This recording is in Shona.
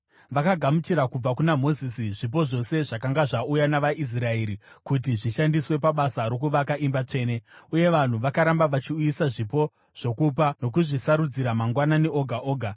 Vakagamuchira kubva kuna Mozisi zvipo zvose zvakanga zvauya navaIsraeri kuti zvishandiswe pabasa rokuvaka imba tsvene. Uye vanhu vakaramba vachiuyisa zvipo zvokupa nokuzvisarudzira mangwanani oga oga.